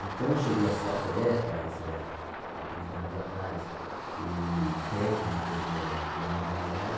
Então eu cheguei a ser atleta, isso aí a a trinta anos atrás, e técnico do da modalidade.